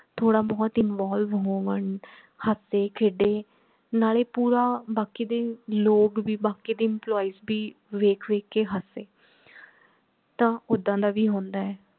ਥੋੜਾ ਬਹੁਤ involve ਹੋਵਣ ਹਸੇ ਖੇਡੇ ਨਾਲੇ ਪੂਰਾ ਬਾਕੀ ਦੇ ਲੋਗ ਭੀ ਬਾਕੀ ਦੇ employees ਭੀ ਵੇਖ ਵੇਖ ਕੇ ਹਸੇ ਤਾਂ ਓਦਾਂ ਦਾ ਭੀ ਹੁੰਦਾ ਹੈ